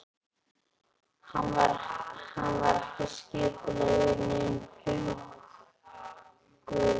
Hann var ekki að skipuleggja nein huggulegheit.